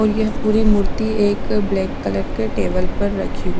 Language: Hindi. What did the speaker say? और यह पूरी मूर्ति एक ब्लैक कलर के टेबल पर रखी।